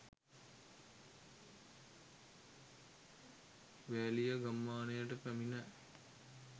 වෑලිය ගම්මානයට පැමිණ